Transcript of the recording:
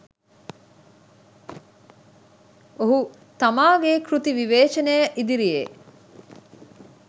ඔහු තමාගේ කෘති විවේචනය ඉදිරියේ